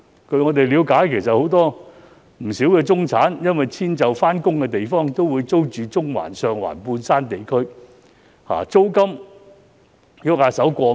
據我們了解，不少中產人士因遷就上班地點，都會租住中環、上環、半山地區，租金動輒過萬元。